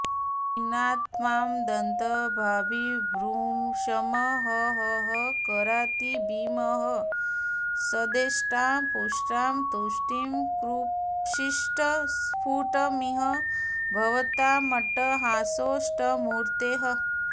पीनात्मा दन्तभाभिर्भृशमहहहकारातिभीमः सदेष्टां पुष्टां तुष्टिं कृषीष्ट स्फुटमिह भवतामट्टहासोऽष्टमूर्तेः